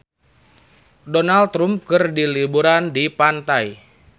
Donald Trump keur liburan di pantai